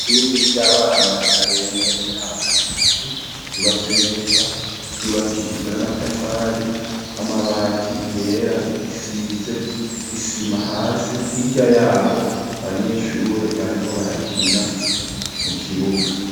Ishure ry'abana batarenza imyaka itatu ryubatswe neza ryubakishijwe n'amatafari amabati yera risize isima hasi higa yaho abanyeshure barimo barakina mu kibuga.